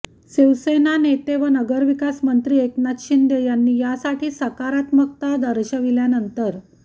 शिवसेना नेते व नगरविकासमंत्री एकनाथ शिंदे यांनी यासाठी सकारात्मकता दर्शविल्यानंतर